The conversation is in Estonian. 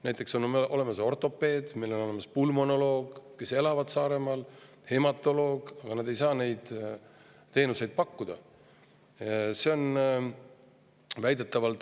Näiteks on olemas ortopeed, on pulmonoloog, kes elavad Saaremaal, ka hematoloog, aga nad ei saa seda ravi pakkuda.